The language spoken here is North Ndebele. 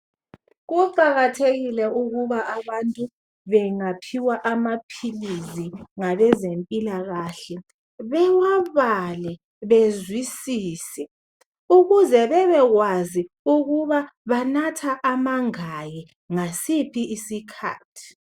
Kuqakathekile ukuba abantu bengaphiwa amaphilisi ngabezempilakahle bewabale bezwisise ukuze bebekwazi ukuthi banatha amangaki ngasiphi isikhathi.